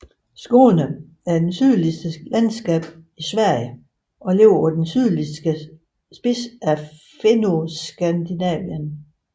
Skåne er det sydligste landskab i Sverige og ligger på den sydligste spids af Fennoskandinavien